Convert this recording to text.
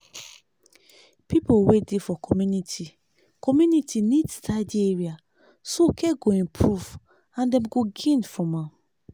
people wey dey for community community need tidy area so care go improve and dem go gain from am.